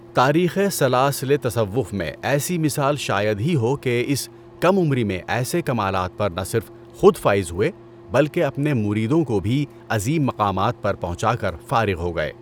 تاریخِ سلاسلِ تصوف میں ایسی مثال شاید ہی ہو کہ اس کم عمری میں ایسے کمالات پر نہ صرف خود فائز ہوئے بلکہ اپنے مریدوں کو بھی عظیم مقامات پر پہنچا کر فارِغ ہو گئے۔